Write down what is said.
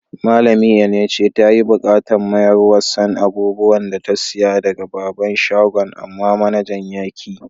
Malami Enenche ta yi bukatan mayarswan abubuwan da ta siya daga babban shagon, amma manajan ya ki.